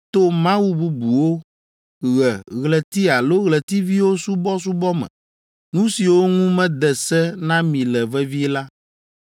to mawu bubuwo, ɣe, ɣleti alo ɣletiviwo subɔsubɔ me, nu siwo ŋu mede se na mi le vevie la,